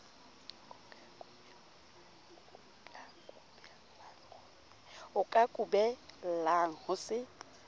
o ka kubellang ho se